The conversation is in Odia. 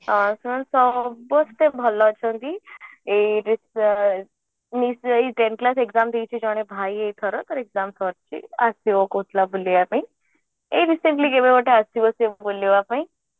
ସେମାନେ ସମସ୍ତେ ଭଲ ଅଛନ୍ତି ଏଇ tenth class exam ଦେଇଛି ଜଣେ ଭାଇ ଏଇ ଥର ତାର exam ସରିଛି ଆସିବ କହୁଥିଲା ବୁଲିବା ପାଇଁ ଏଇ recently କେବେ ଗୋଟେ ଆସିବା ସେ ବୁଲିବା ପାଇଁ